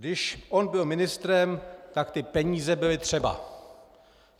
Když on byl ministrem, tak ty peníze byly třeba!